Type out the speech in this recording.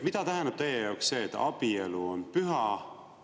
Mida tähendab teie jaoks see, et abielu on püha?